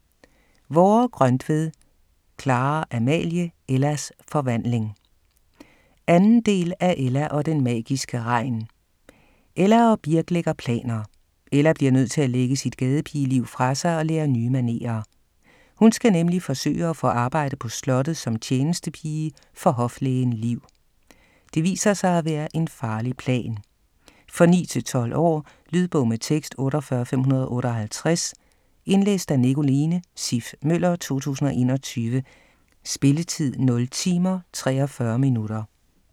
Vorre-Grøntved, Clara-Amalie: Ellas forvandling 2. del af Ella og den magiske regn. Ella og Birk lægger planer. Ella bliver nødt til at lægge sit gadepigeliv fra sig og lære nye manerer. Hun skal nemlig forsøge at få arbejde på slottet som tjenestepige for hoflægen Liv. Det viser sig at være en farlig plan. For 9-12 år. Lydbog med tekst 48558 Indlæst af Nicoline Siff Møller, 2021. Spilletid: timer, 43 minutter.